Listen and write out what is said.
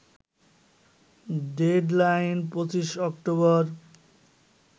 deadline ২৫ October